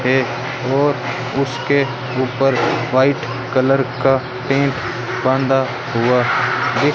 एक और उसके ऊपर व्हाइट कलर का टेप बांधा हुआ दिख--